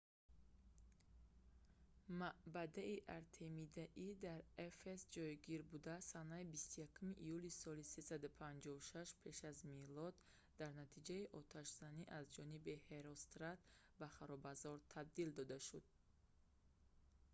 маъбади артемидаи дар эфес ҷойгирбуда санаи 21 июли соли 356 пеш аз милод дар натиҷаи отшазанӣ аз ҷониби ҳерострат ба харобазор табдил дода шуд